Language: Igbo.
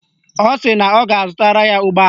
Ọ sị na ọ ga-azụtara ya ụgbọala